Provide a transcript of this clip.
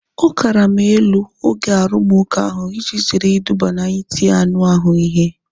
Ọ karama elu oge arumuka ahu iji zere iduba na iti anụ ahụ ihe